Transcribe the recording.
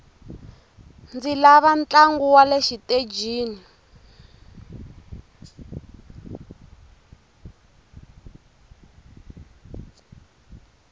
ndzi lava ntlangu wale xitejini